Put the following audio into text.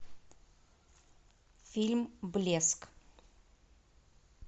фильм блеск